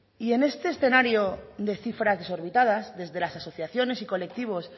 y en este escenario de cifras desorbitadas desde las asociaciones y colectivos